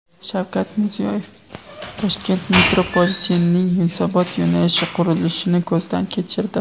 Shavkat Mirziyoyev Toshkent metropolitenining Yunusobod yo‘nalishi qurilishini ko‘zdan kechirdi.